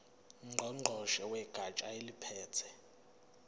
ngqongqoshe wegatsha eliphethe